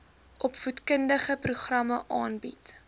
opvoedkundige programme aanbied